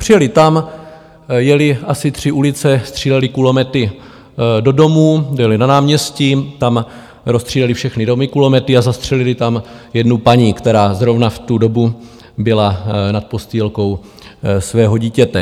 Přijeli tam, jeli asi tři ulice, stříleli kulomety do domů, byli na náměstí, tam rozstříleli všechny domy kulomety a zastřelili tam jednu paní, která zrovna v tu dobu byla nad postýlkou svého dítěte.